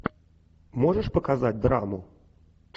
можешь показать драму